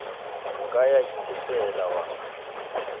o ka ya itefela wa